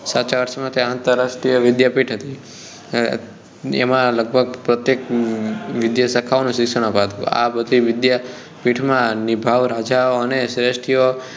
આંતરાષ્ટ્રીય વિદ્યાપીઠ હતી એમાં લગભગ પ્રત્યેક વિદ્યાશાખાઓ નું શિક્ષણ અપાતું આ બધી વિદ્યાપીઠમાં નિભાવ રાજાઓ અને શ્રેષ્ઠીઓએ